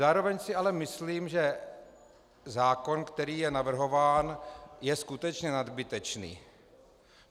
Zároveň si ale myslím, že zákon, který je navrhován, je skutečně nadbytečný.